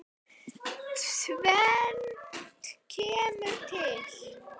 Tvennt kemur til.